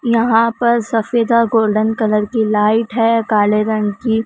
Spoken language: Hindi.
यहां पर सफेदा गोल्डन कलर की लाइट है कले रंग की--